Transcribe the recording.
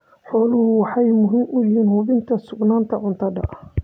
Xooluhu waxay muhiim u yihiin hubinta sugnaanta cuntada.